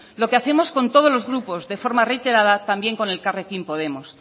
lo que hacemos con todos los grupos de forma reiterada también con elkarrekin podemos